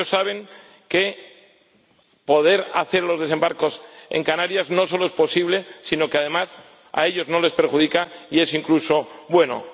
Ellos saben que poder hacer los desembarcos en Canarias no solo es posible, sino que, además, a ellos no les perjudica y es incluso bueno.